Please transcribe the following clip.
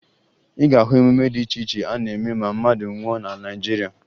Ị ga-ahụ emume dị iche iche a na-eme ma mmadụ nwụọ na Naịjirịa